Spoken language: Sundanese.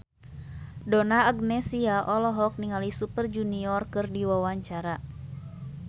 Donna Agnesia olohok ningali Super Junior keur diwawancara